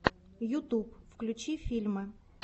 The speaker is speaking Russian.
ютуб включи фильмы